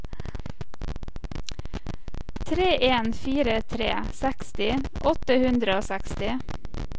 tre en fire tre seksti åtte hundre og seksti